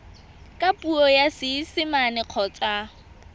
ka puo ya seesimane kgotsa